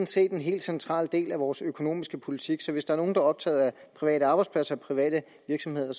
set en helt central del af vores økonomiske politik så hvis der er nogen der er optaget af private arbejdspladser private virksomheder